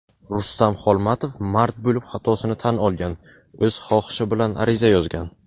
Rustam Xolmatov "mard bo‘lib xatosini tan olgan" – o‘z xohishi bilan ariza yozgan.